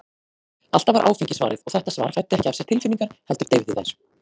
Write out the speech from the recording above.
Alltaf var áfengi svarið, og þetta svar fæddi ekki af sér tilfinningar, heldur deyfði þær.